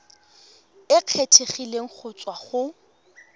e kgethegileng go tswa go